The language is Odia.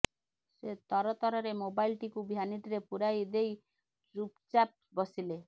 ସେ ତରତରରେ ମୋବାଇଲ୍ଟିକୁ ଭ୍ୟାନିଟିରେ ପୁରେଇ ଦେଇ ଚୁପ୍ଚାପ୍ ବସିଲେ